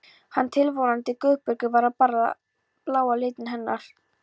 Hinn tilvonandi Guðbergur var að borða bláa litinn hennar.